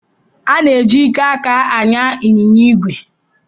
Ana-eji ike aka anya ịnyịnya ígwè